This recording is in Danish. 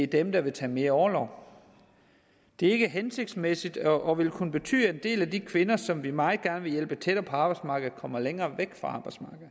dem der vil tage mere orlov det er ikke hensigtsmæssigt og vil kunne betyde at en del af de kvinder som vi meget gerne vil hjælpe tættere på arbejdsmarkedet kommer længere væk fra